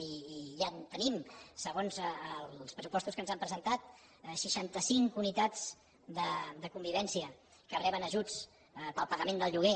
i ja tenim segons els pressupostos que ens han presentat seixanta cinc unitats de convivència que reben ajuts per al pagament del lloguer